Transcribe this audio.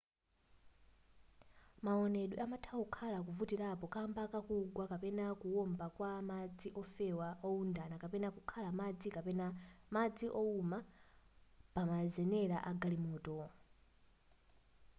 maonedwe amatha kukhala ovutirapo kamba kakugwa kapena kuwomba ka madzi ofewa wowundana kapena kukhala madzi kapena madzi wowuma pamazenera a galimoto